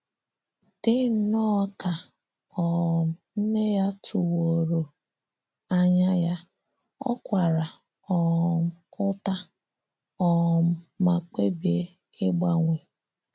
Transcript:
Dị nnọọ ka um nné ya tụ̀wòrò ànyà ya, ò kwàrà um ǔtà um mà kpèbìè ị̀gbanwè.